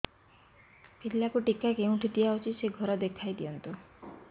ପିଲାକୁ ଟିକା କେଉଁଠି ଦିଆଯାଉଛି ସେ ଘର ଦେଖାଇ ଦିଅନ୍ତୁ